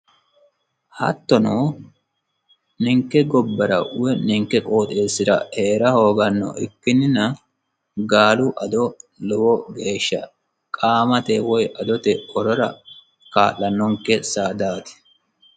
Hattono ninke gobbara woyi ninke qooxeesira Heera hoogano ikkinina gaalu ado lowo geesha qamate woyi adote horora kaa'lanonke saadati.